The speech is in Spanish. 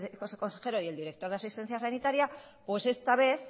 el viceconsejero y el director de asistencia sanitaria esta vez